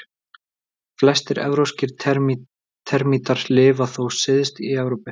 Flestir evrópskir termítar lifa þó syðst í Evrópu.